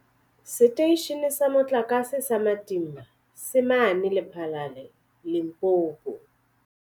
Seteishene sa Motlakase sa Matimba se mane Lephalale, Limpopo.